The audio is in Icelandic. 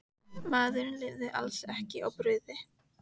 Maðurinn lifir alls ekki á brauði.